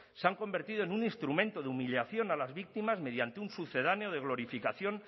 se han convertido en un instrumento de humillación a las víctimas mediante un sucedáneo de glorificación